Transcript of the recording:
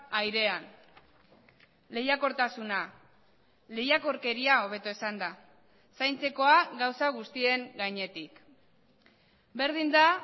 airean lehiakortasuna lehiakorkeria hobeto esanda zaintzekoa gauza guztien gainetik berdin da